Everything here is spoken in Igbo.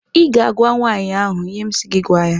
Ị ga-agwa nwaanyị ahụ ihe m si gị gwa ya!